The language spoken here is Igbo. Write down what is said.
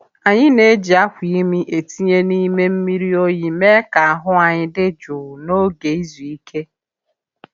Anyị na-eji akwa imi e tinye n’ime mmiri oyi mee ka ahụ anyi dị jụụ n’oge izu ike.